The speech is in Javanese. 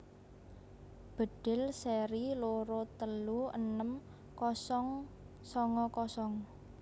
Bedhil seri loro telu enem kosong songo kosong